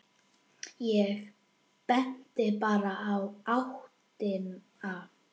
Ég benti bara í áttina.